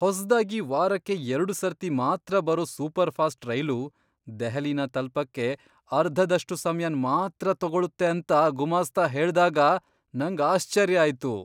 ಹೊಸ್ದಾಗಿ ವಾರಕ್ಕೆ ಎರ್ಡು ಸರ್ತಿ ಮಾತ್ರ ಬರೋ ಸೂಪರ್ಫಾಸ್ಟ್ ರೈಲು ದೆಹಲಿನ ತಲ್ಪಕ್ಕೆ ಅರ್ಧದಷ್ಟು ಸಮ್ಯನ್ ಮಾತ್ರ ತಗೊಳುತ್ತೆ ಅಂತ ಗುಮಾಸ್ತ ಹೇಳ್ದಾಗ ನಂಗ್ ಆಶ್ಚರ್ಯ ಆಯ್ತು!